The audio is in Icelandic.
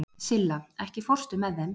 Silla, ekki fórstu með þeim?